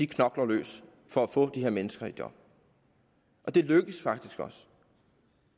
knokler løs for at få de her mennesker i job og det lykkes faktisk også